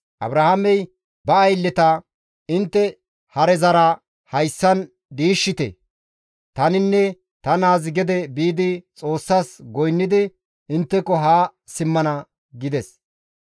Abrahaamey ba aylleta, «Intte harezara hayssan diishshite; taninne ta naazi gede biidi Xoossas goynnidi intteko haa simmana» gides.